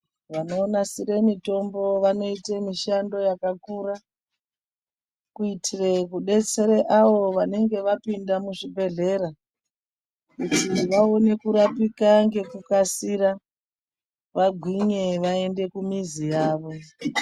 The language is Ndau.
Vanonasire mitombo vanoite mishando yakakura, kuitire kudetsera avo vanenge vapinda muzvibhehlera kuti vaone kurapika ngekukasira, vagwinye vaende kumizi yavo.